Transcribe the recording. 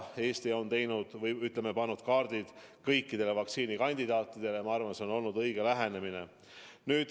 Eesti on pannud kaardid kõikidele vaktsiinikandidaatidele ja ma arvan, et see on olnud õige lähenemine.